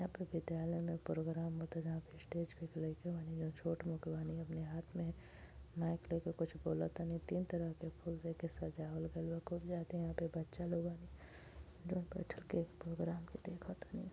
यहां पे विद्यालय में प्रोग्राम होता जहाँ पे स्टेज पे एक लईका बानी जौन छोट मोट बानी। अपने हाथ में माइक लेके कुछ बोलतानी तीन तरह के फूल से एके सजावल गईल बा। खूब जादे यहां पे बच्चा लोगन जोन बइठ के प्रोग्राम के देखतानी।